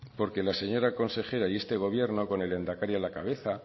porque la señora consejera y este gobierno con el lehendakari a la cabeza